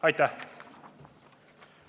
Aitäh!